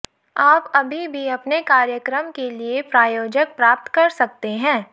आप अभी भी अपने कार्यक्रम के लिए प्रायोजक प्राप्त कर सकते हैं